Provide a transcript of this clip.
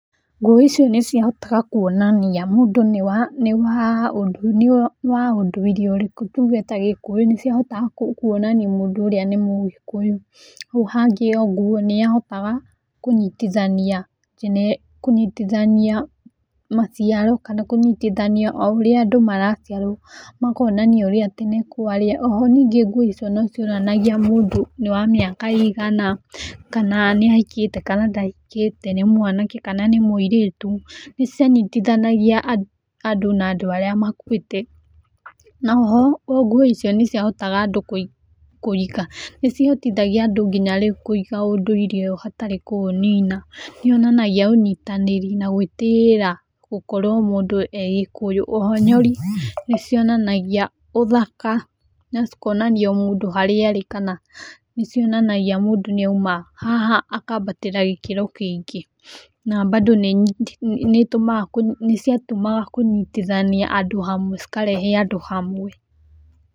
Nguo icio nĩ ciahotaga kuonania mũndũ nĩ wa ũndũire ũrikũ tuge ta gĩkũyũ nĩ ciahotaga kuonania mũndũ ũrĩa nĩ mũgĩkũyũ. Hau hangĩ o nguo nĩ yahotaga kũnyitithania maciaro kana kũnyitithania o ũrĩa andũ maraciarwo, makonania ũrĩa tene kwarĩ. O ho ningĩ nguo icio no cionanagia mũndũ nĩ wa mĩaka ĩigana, kana nĩ ahikĩte kana ndahikĩte, nĩ mwanake kana nĩ mũirĩtu, nĩ cianyitithanagia andũ na andũ arĩa makuĩte, no ho nguo icio nĩ ciahotaga andũ kũrika, nĩcihotithagia andũ nginya rĩu kũiga ũndũire ũyũ hatarĩ kũũnina, nĩyonanagia ũnyitanĩri na gwĩtĩĩra gũkorwo mũndũ e gĩkũyũ, o ho nyori nĩ cionanagia ũthaka na cikonania mũndũ harĩa arĩ kana nĩcionanagia mũndũ nĩ auma haha akambatĩra gĩkĩro kĩngĩ, na bado nĩ ciatũmaga kũnyitithania andũ hamwe, cikarehe andũ hamwe.